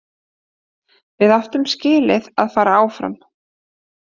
Við áttum skilið að fara áfram.